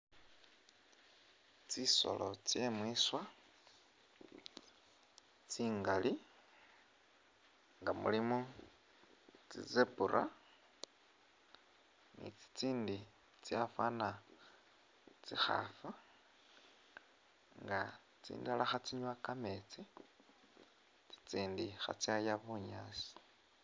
Tsisolo tse mwiswa tsingali nga mulimo tsi zebra ni tsitsindi tsafana tsikhafu nga tsindala khe tsinwa kameetsi tsitsindi khatsaya buyaasi.